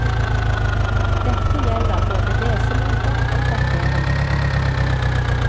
Dette gjelder både lesemåter og dateringer.